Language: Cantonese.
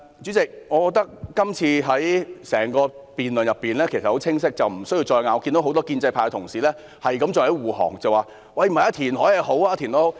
主席，我認為事實很清晰，大家不用再爭辯，但很多建制派議員還在為政府護航，說填海是好事。